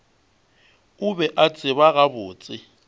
o be a tseba gabotse